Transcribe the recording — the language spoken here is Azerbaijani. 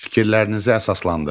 Fikirlərinizi əsaslandırın.